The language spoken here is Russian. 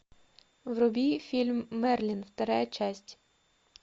вруби фильм мерлин вторая часть